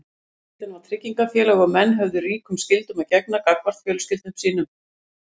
fjölskyldan var tryggingafélag og menn höfðu ríkum skyldum að gegna gagnvart fjölskyldum sínum